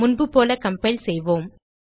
முன்பு போல கம்பைல் செய்வோம்